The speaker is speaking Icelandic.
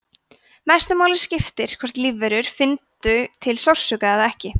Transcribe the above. mestu máli skipti hvort lífverur fyndu til sársauka eða ekki